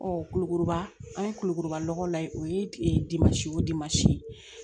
kulukoro an ye kulukoro lanɔgɔ la o ye dimansi ye o dimansi